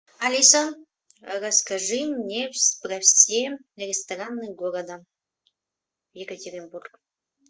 алиса расскажи мне про все рестораны города екатеринбург